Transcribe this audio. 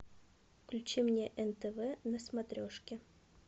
включи мне нтв на смотрешке